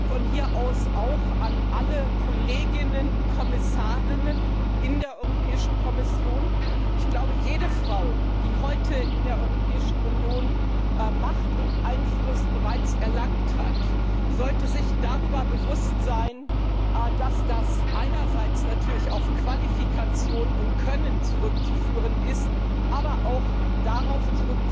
Von hier aus auch an alle Kolleginnen und Kommissarinnen in der Kommission Ich glaube, jede Frau, die heute in der Europäischen Union bereits Macht und Einfluss erlangt hat, sollte sich dessen bewusst sein, dass das einerseits natürlich auf Qualifikation und Können zurückzuführen ist, aber auch darauf,